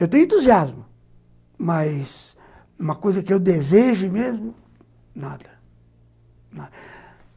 Eu tenho entusiasmo, mas uma coisa que eu desejo mesmo, nada.